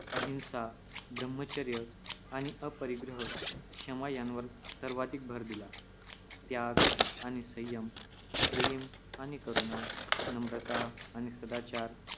अहिंसा, ब्रह्मचर्य आणि अपरिग्रह, क्षमा यांवर सर्वाधिक भर दिला. त्याग आणि संयम, प्रेम आणि करुणा, नम्रता आणि सदाचार